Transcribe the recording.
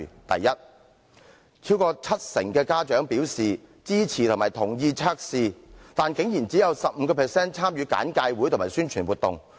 第一，超過七成家長表示支持及同意驗毒計劃，但只有 15% 的學生參與簡介會及宣傳活動。